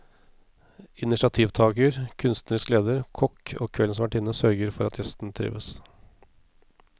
Initiativtager, kunstnerisk leder, kokk og kveldens vertinne sørger for at gjestene trives.